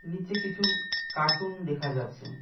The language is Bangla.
নীচে কিছু কার্টুন দেখা যাচ্ছে।